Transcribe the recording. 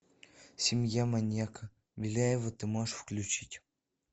семья маньяка беляева ты можешь включить